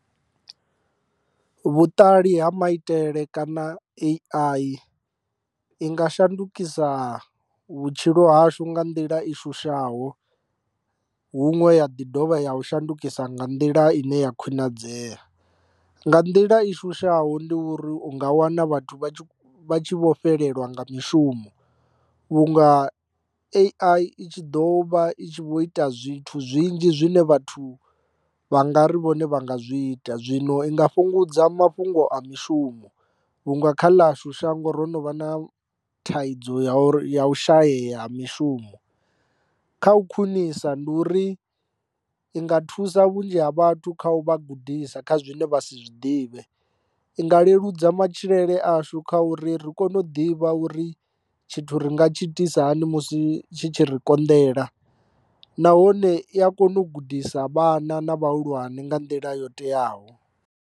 Vhuṱali ha maitele kana A_I i nga shandukisa vhutshilo hashu nga nḓila i shushaho huṅwe ya ḓi dovha ya u shandukisa nga nḓila ine ya khwinadzea. Nga nḓila i shushaho ndi uri u nga wana vhathu vha vha tshi vho fhelelwa nga mushumo vhunga A_I i tshi ḓo vha i tshi vho ita zwithu zwinzhi zwine vhathu vha nga ri vhone vha nga zwi ita, zwino i nga fhungudza mafhungo a mishumo vhunga kha ḽashu shango ro no vha na thaidzo ya uri ya u shayeya ha mishumo. Kha u khwinisa ndi uri i nga thusa vhunzhi ha vhathu kha u vha gudisa kha zwine vha si zwiḓivhe, i nga leludza matshilele ashu kha uri ri kone u ḓivha uri tshithu ri nga tshi itisa hani musi tshi tshi ri konḓela, nahone i a kona u gudisa vhana na vhahulwane nga nḓila yo teaho.